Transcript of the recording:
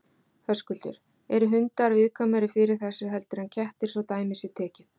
Höskuldur: Eru hundar viðkvæmari fyrir þessu heldur en kettir svo dæmi sé tekið?